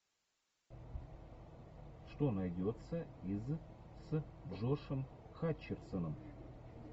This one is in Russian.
что найдется из с джошем хатчерсоном